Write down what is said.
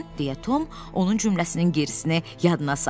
deyə Tom onun cümləsinin gerisini yadına saldı.